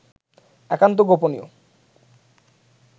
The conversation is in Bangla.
একান্ত গোপনীয়